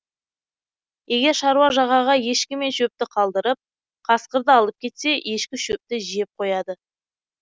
егер шаруа жағаға ешкі мен шөпті қалдырып қасқырды алып кетсе ешкі шөпті жеп қояды